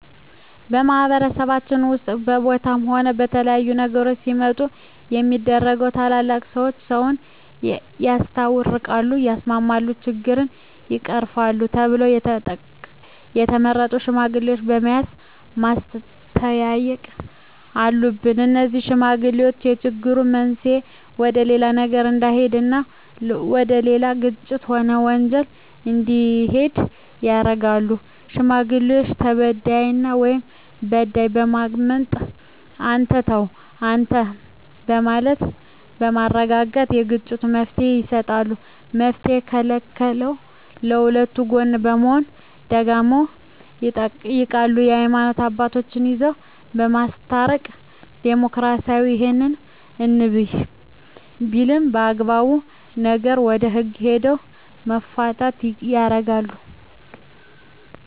በማህበረሰባችን ውስጥም በቦታም ሆነ በተለያዩ ነገሮች ሲመጡ ሚደረገው ትላልቅ ሰዎች ሰውን ያስታርቃል ያስማማሉ ችግሮችን ይቀርፋሉ ተብለው የተቀመጡ ሽማግሌዎች በመያዝ ማስተየቅ አሉብን እነዜህ ሽማግሌዎች የችግሩ መንሰየ ወደሌላ ነገር እዳሄድ እና ወደሌላ ግጭት ሆነ ወንጀል እንዲሄድ ያረጋሉ ሽማግሌዎች ተበድያለሁ ወይም በዳይን በማዳመጥ አንተ ተው አንተም በማለት በማረጋጋት ለግጭቱ መፍትሔ ይሰጣሉ መፍትሔ ከለለውም ከሁለቱ ጎን በመሆን ደጋግመው ይጠይቃሉ የሀይማኖት አባቶቻቸው ይዘው ለማስታረቅ ይሞክራሉ እሄም እንብይ ቢልም አግባብ ነገር ወደ ህግ ሄደው መፋተየ ያረጋሉ